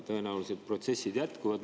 Tõenäoliselt protsessid jätkuvad.